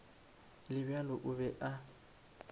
le bjalo o be a